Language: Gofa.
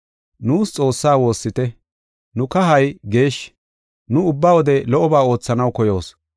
Nuus Xoossaa woossite. Nu kahay geeshshi; nu ubba wode lo77oba oothanaw koyoos.